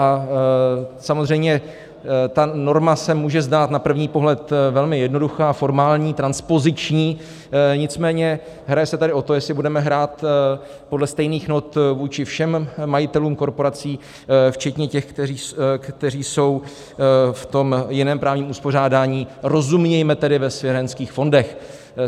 A samozřejmě ta norma se může zdát na první pohled velmi jednoduchá, formální, transpoziční, nicméně hraje se tady o to, jestli budeme hrát podle stejných not vůči všem majitelům korporací včetně těch, kteří jsou v tom jiném právním uspořádání, rozumějme tedy ve svěřenských fondech.